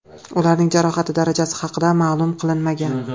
Ularning jarohati darajasi haqida ma’lum qilinmagan.